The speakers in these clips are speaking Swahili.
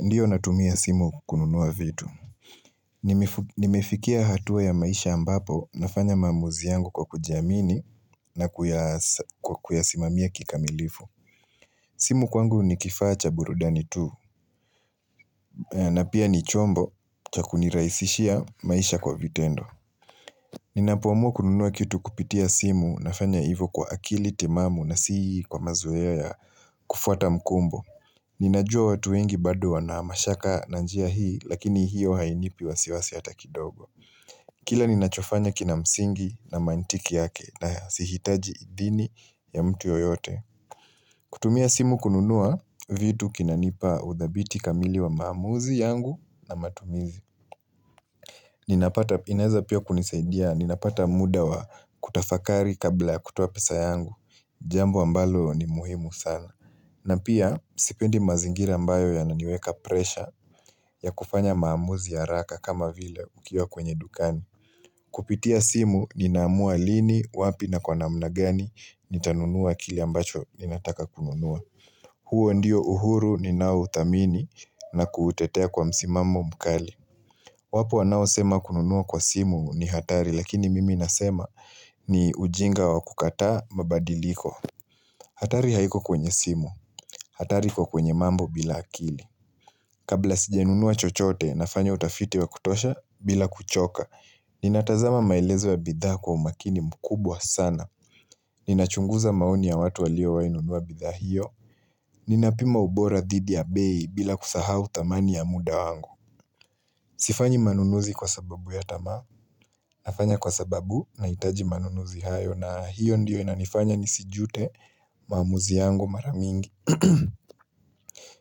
Ndio natumia simu kununua vitu. Nimefikia hatua ya maisha ambapo nafanya maamuzi yangu kwa kujiamini na kuyasimamia kikamilifu. Simu kwangu ni kifaa cha burudani tu na pia ni chombo cha kunirahisishia maisha kwa vitendo. Ninapoamua kununua kitu kupitia simu nafanya hivo kwa akili timamu na si kwa mazoea kufuata mkumbo. Ninajua watu wengi bado wana mashaka na njia hii lakini hiyo hainipi wasiwasi hata kidogo Kila ninachofanya kina msingi na mantiki yake nasihitaji idhini ya mtu yoyote kutumia simu kununua, vitu kinanipa udhabiti kamili wa maamuzi yangu na matumizi ninapata, inaeza pia kunisaidia, ninapata muda wa kutafakari kabla ya kutoa pesa yangu Jambo ambalo ni muhimu sana na pia, sipendi mazingira mbayo yananiweka presha ya kufanya maamuzi haraka kama vile ukiwa kwenye dukani. Kupitia simu ninaamua lini, wapi na kwa namna gani nitanunua kile ambacho ninataka kununua. Huo ndio uhuru ninaouthamini na kuutetea kwa msimamo mkali. Wapo wanaosema kununua kwa simu ni hatari lakini mimi nasema ni ujinga wa kukataa mabadiliko. Hatari haiko kwenye simu, hatari iko kwenye mambo bila akili Kabla sijanunua chochote nafanya utafiti wa kutosha bila kuchoka Ninatazama maelezo ya bidhaa kwa umakini mkubwa sana Ninachunguza maoni ya watu waliowahi nunua bidhaa hiyo Ninapima ubora dhidi ya bei bila kusahau thamani ya muda wangu Sifanyi manunuzi kwa sababu ya tamaa nafanya kwa sababu nahitaji manunuzi hayo na hiyo ndiyo inanifanya nisijute maamuzi yangu mara mingi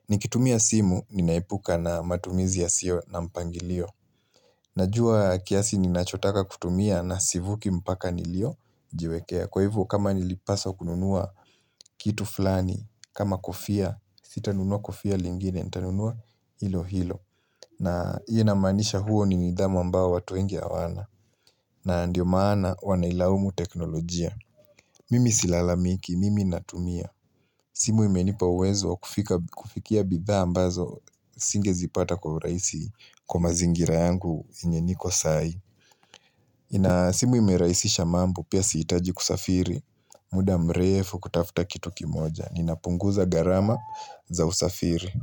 Nikitumia simu, ninaepuka na matumizi yasiyo na mpangilio Najua kiasi ninachotaka kutumia na sivuki mpaka niliyojiwekea. Kwa hivyo kama nilipaswa kununua kitu fulani kama kofia, sitanunua kofia lingine, nitanunua hilo hilo na hiyo inamaanisha huo ni nidhamu ambao watu wengi hawana na ndio maana wanailaumu teknolojia Mimi silalamiki, mimi natumia simu imenipa uwezo kufikia bidhaa ambazo singezipata kwa urahisi kwa mazingira yangu yenye niko sahi. Simu imerahisisha mambo pia sihitaji kusafiri muda mrefu kutafuta kitu kimoja. Ninapunguza gharama za usafiri.